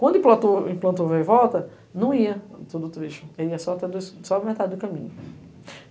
Quando implantou vai e volta, não ia, tudo triste, ia só a metade do caminho.